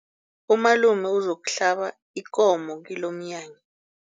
Umalume uzokuhlaba ikomo kilomnyanya.